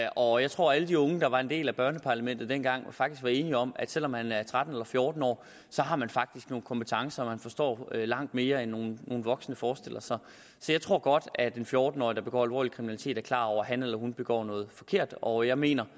og jeg tror at alle de unge der var en del af børneparlamentet dengang faktisk var enige om at selv om man er tretten eller fjorten år har man faktisk nogle kompetencer og man forstår langt mere end nogle voksne forestiller sig så jeg tror godt at en fjorten årig der begår alvorlig kriminalitet er klar over at han eller hun begår noget forkert og jeg mener